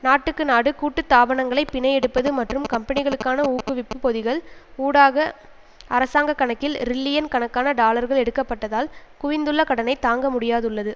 நாட்டுக்கு நாடு கூட்டு தாபனங்களை பிணை எடுப்பது மற்றும் கம்பனிகளுக்கான ஊக்குவிப்பு பொதிகள் ஊடாக அரசாங்க கணக்கில் ரில்லியன் கணக்கான டாலர்கள் எடுக்க பட்டதால் குவிந்துள்ள கடனை தாங்க முடியாதுள்ளது